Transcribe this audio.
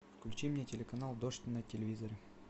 включи мне телеканал дождь на телевизоре